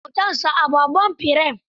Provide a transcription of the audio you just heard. An sa hotonsa a babban firem.